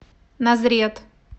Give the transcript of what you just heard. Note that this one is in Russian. назрет